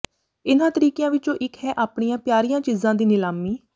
ਇਨ੍ਹਾਂ ਤਰੀਕਿਆਂ ਵਿਚੋਂ ਇਕ ਹੈ ਆਪਣੀਆਂ ਪਿਆਰੀਆਂ ਚੀਜ਼ਾਂ ਦੀ ਨਿਲਾਮੀ